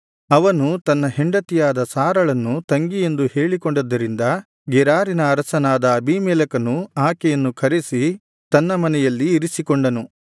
ಅವನು ತನ್ನ ಹೆಂಡತಿಯಾದ ಸಾರಳನ್ನು ತಂಗಿಯೆಂದು ಹೇಳಿಕೊಂಡದ್ದರಿಂದ ಗೆರಾರಿನ ಅರಸನಾದ ಅಬೀಮೆಲೆಕನು ಆಕೆಯನ್ನು ಕರೆಸಿ ತನ್ನ ಮನೆಯಲ್ಲಿ ಇರಿಸಿಕೊಂಡನು